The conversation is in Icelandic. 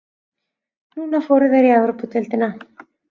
Núna fóru þeir í Evrópudeildina.